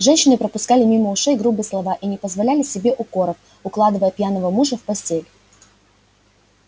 женщины пропускали мимо ушей грубые слова и не позволяли себе укоров укладывая пьяного мужа в постель